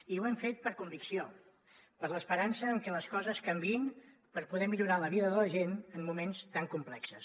i ho hem fet per convicció per l’esperança en que les coses canviïn per poder millorar la vida de la gent en moments tan complexos